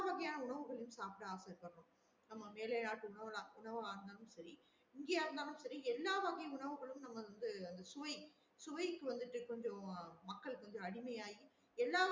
எல்லா வகையான உணவுகள சாப்ட ஆச இப்ப இருக்குறவங்களுக்கு நம்ம வேற யார்ட உணவு வாங்குனாலும் சேரி இங்க இருந்தாலும் சரி எல்லா வகை உணவுகளும் நம்ம வந்து சுவை சுவைக்கு வந்துட்டு கொஞ்சம் மக்கள் கொஞ்சம் அடிமையாகி எல்லா